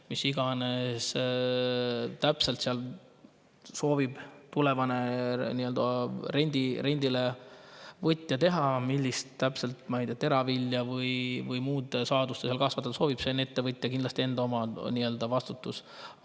Mida iganes täpselt soovib tulevane rendile võtja seal teha, täpselt millist, ma ei tea, teravilja või muud saadust kasvatada, see on kindlasti ettevõtja enda vastutus.